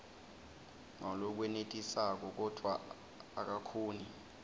ngalokwenetisako kodvwa akakhoni